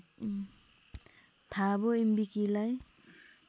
थाबो म्बिकीलाई